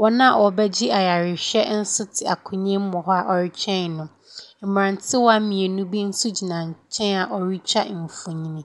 Wɔn a wɔrebɛgye ayarehwɛ nso te akonnwa mu wɔ hɔ a wɔretwwɛn no. Mmerantewa mmienu bi nso gyina nkyɛn a wɔretwa mfonini.